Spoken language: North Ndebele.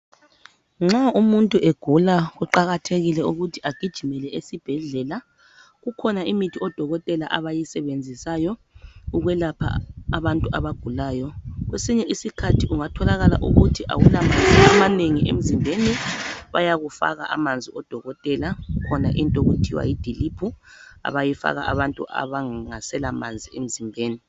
Nxa umuntu egula kuqakathekile ukuthi agijimele esibhedlela kukhona imithi odokotela abayisebenzisayo ukwelapha abantu abagulayo kwesinye isikhathi kungatholakala ukuthi awula manzi amanengi emzimbeni bayakufaka amanzi odokotela kukhona into okuthiwa yidiliphu abayifaka abantu abangaselamanzi emzimbeni.